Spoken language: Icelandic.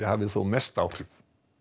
hafi þó mest áhrif